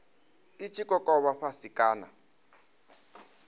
i tshi kokovha fhasi kana